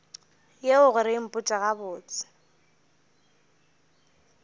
yeo gore o mpotše gabotse